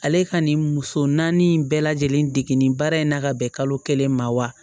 Ale ka nin muso naani bɛɛ lajɛlen degen baara in na ka bɛn kalo kelen ma wa